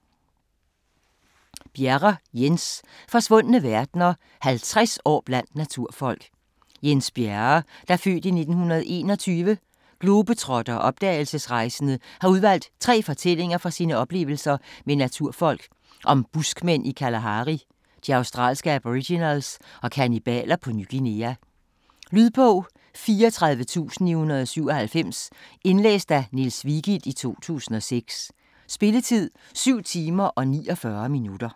Bjerre, Jens: Forsvundne verdener: 50 år blandt naturfolk Jens Bjerre (f. 1921), globetrotter og opdagelsesrejsende har udvalgt 3 fortællinger fra sine oplevelser med naturfolk: om buskmænd i Kalahari, de australske aboriginals og kannibaler på Ny Guinea. Lydbog 34997 Indlæst af Niels Vigild, 2006. Spilletid: 7 timer, 49 minutter.